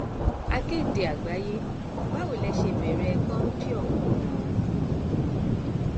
akéde àgbàyẹbàwò lè ṣe bẹrẹ kọńpì ọhún ganan